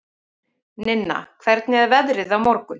Ninna, hvernig er veðrið á morgun?